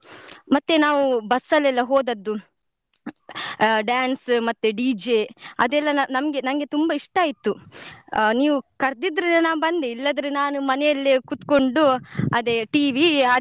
ಮತ್ತೆ ನಾವು bus ಅಲ್ಲೆಲ್ಲ ಹೋದದ್ದು ಆ dance ಮತ್ತೆ DJ ಅದೆಲ್ಲ ನ~ ನಮ್ಗೆ ನಂಗೆ ತುಂಬಾ ಇಷ್ಟ ಆಯ್ತು ನೀವು ಕರ್ದಿದ್ರಿಂದ ನಾನು ಬಂದೆ ಇಲ್ಲದ್ರೆ ನಾನು ಮನೆಯಲ್ಲೇ ಕುತ್ಕೊಂಡು ಅದೇ TV .